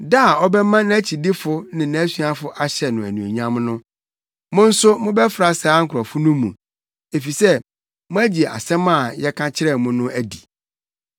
da a ɔbɛma nʼakyidifo ne nʼasuafo ahyɛ no anuonyam no. Mo nso mobɛfra saa nkurɔfo no mu, efisɛ moagye asɛm a yɛka kyerɛɛ mo no adi.